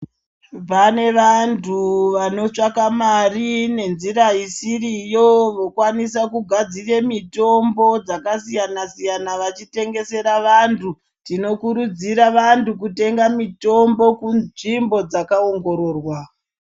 Pane vantu vanotsvaka mari nenzira isiriyo vokwanise kugadzire mitombo dzakasiyana-siyana vachitengesere vantu. Tinokurudzira vantu kutenga mirombo kunzvimbo dzakaongororwa.